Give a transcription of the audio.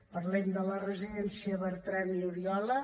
parlem de la residència bertran oriola